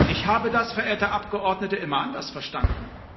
Ich habe das, verehrte Abgeordnete, immer anders verstanden.